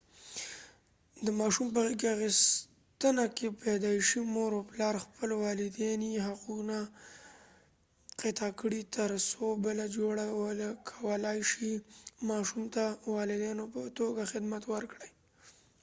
د ماشوم په غېږ اخیستنه کې پیدایشي مور و پلار خپل والدیني حقونه قطع کړي تر څو بله جوړه وکولای شي ماشوم ته د والدینو په توګه خدمت ورکړي